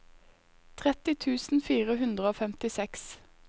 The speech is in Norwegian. tretti tusen fire hundre og femtiseks